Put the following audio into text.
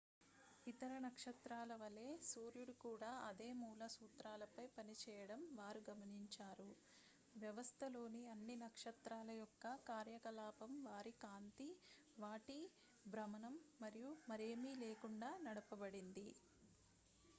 ఇతర నక్షత్రాలవలే సూర్యుడు కూడా అదే మూల సూత్రాలపై పనిచేయడం వారు గమనించారు వ్యవస్థలోని అన్ని నక్షత్రాల యొక్క కార్యకలాపం వారి కాంతి వాటి భ్రమణం మరియు మరేమీ లేకుండా నడపబడింది